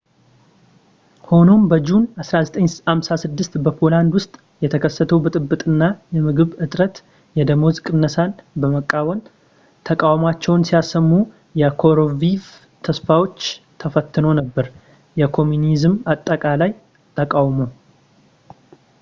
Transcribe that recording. ሆኖም በጁን 1956 በፖላንድ ውስጥ የተከሰተው ብጥብጥ እና የምግብ እጥረት እና የደመወዝ ቅነሳን በመቃወም ተቃውሟቸውን ሲያሰሙ የኮሩሺቭ ተስፋዎች ተፈትኖ ነበር የኮሚኒዝም አጠቃላይ ተቃውሞ